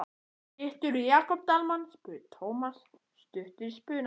Hittirðu Jakob Dalmann? spurði Thomas stuttur í spuna.